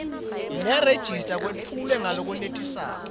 nerejista kwetfulwe ngalokwenetisako